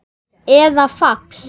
eða fax